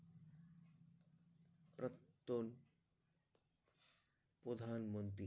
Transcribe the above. প্রত্ন প্রধানমন্ত্রী